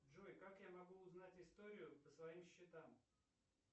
джой как я могу узнать историю по своим счетам